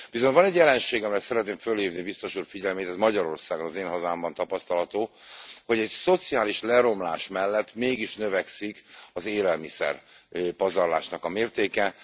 Viszont van egy jelenség, amire szeretném felhívni Biztos Úr figyelmét, ez Magyarországon, az én hazámban tapasztalható, hogy a szociális leromlás mellett mégis növekszik az élelmiszerpazarlás mértéke.